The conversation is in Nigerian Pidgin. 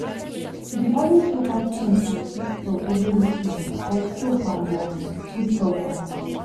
she dey always go buy things for cheap store every weekend like soap and um foodstuff um